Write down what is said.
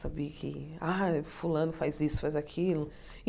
Saber que ah fulano faz isso, faz aquilo.